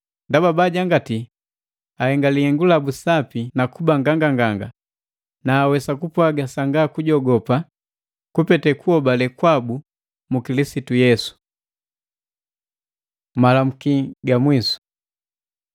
Ndaba bajangati bahenga lihengu labu sapi nakuba nganganganga, na awesa kupwaga sanga kujogopa kupete kuhobale kwabu mu Kilisitu Yesu. Malamuki ga mwisu